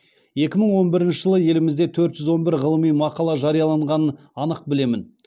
екі мың он бірінші жылы елімізде төрт жүз он бір ғылыми мақала жарияланғанын анық білемін